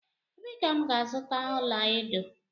Ebe ka m ga azuta ọla edo?